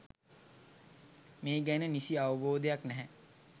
මේ ගැන නිසි අවබෝධයක් නැහැ.